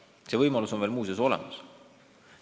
Muuseas, see võimalus on veel olemas.